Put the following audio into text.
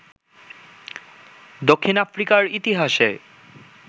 দক্ষিণ আফ্রিকার ইতিহাসে